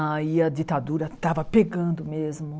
Aí a ditadura estava pegando mesmo.